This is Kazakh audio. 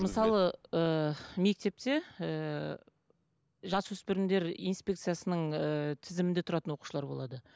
мысалы ыыы мектепте ыыы жасөспірімдер инспекциясының ыыы тізімінде тұратын оқушылар болады